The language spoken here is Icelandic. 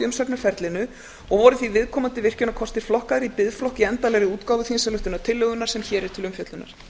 umsagnarferlinu og voru því viðkomandi virkjunarkostir flokkaðir í biðflokk í endanlegri útgáfu þingsályktunartillögunnar sem hér er til umfjöllunar